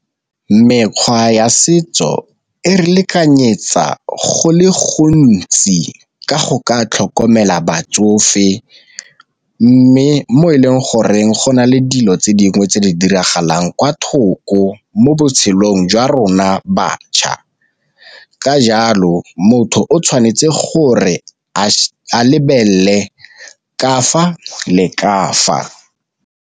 Mekgwa ya setso e re lekanyetsa go le gontsi ka go ka tlhokomela batsofe, mme mo e leng goreng go na le dilo tse dingwe tse di dirang golang kwa thoko mo botshelong jwa rona batjha. Ka jalo motho o tshwanetse gore a lebelele ka fa le ka fa.